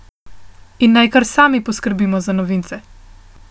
In naj kar sami poskrbimo za novince.